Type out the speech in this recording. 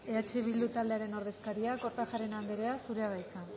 eh bildu taldearen ordezkaria kortajarena andrea zurea da hitza